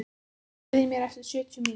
Kristin, heyrðu í mér eftir sjötíu mínútur.